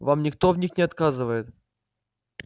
вам никто в них не отказывает